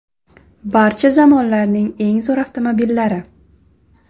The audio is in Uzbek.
Barcha zamonlarning eng zo‘r avtomobillari .